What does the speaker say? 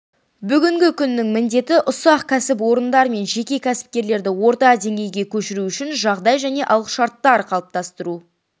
бүгінгі күннің міндеті ұсақ кәсіпорындар мен жеке кәсіпкерлерді орта деңгейге көшіру үшін жағдай және алғышарттар қалыптастыру